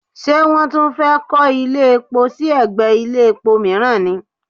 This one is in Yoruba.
Ṣé wọ́n tún fẹ́ kọ́ ilé epo sí ẹ̀gbẹ́ ilé epo mìíràn ni?